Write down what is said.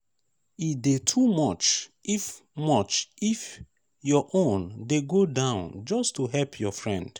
e de too much if much if your own de go down just to help your friend